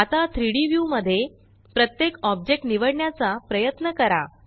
आता 3Dव्यू मध्ये प्रत्येक ऑब्जेक्ट निवडण्याचा प्रयत्न करा